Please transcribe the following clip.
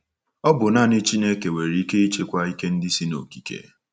Ọ bụ nanị Chineke nwere ike ịchịkwa ike ndị si n’okike.